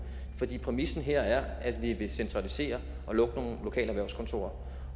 præmissen her at vi vil centralisere og lukke nogle lokale erhvervskontorer